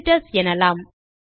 visitors எனலாம்